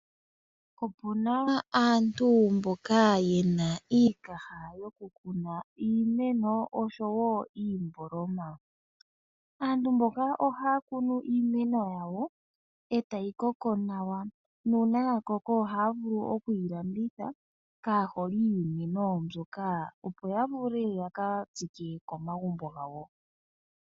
Opuna aantu mboka yena iikaha yokukuna iimeno oshowoo iimboloma . Aantu mboka ohaya kunu iimeno yawo etayi koko nawa. Nuuna yakoko ohaya vulu okuyilanditha kaaholi yiimeno mbyoka , opo yavule yaka tsike okamagumbo gawo.